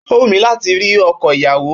Ó wù mí láti ri ọkọ ìyàwó